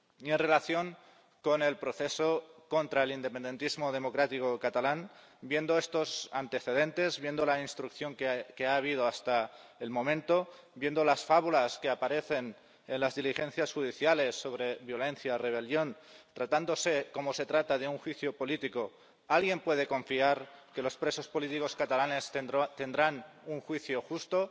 En relación con el proceso contra el independentismo democrático catalán, viendo estos antecedentes, viendo la instrucción que ha habido hasta el momento, viendo las fábulas que aparecen en las diligencias judiciales sobre violencia, rebelión, tratándose como se trata de un juicio político, ¿alguien puede confiar en que los presos políticos catalanes tendrán un juicio justo?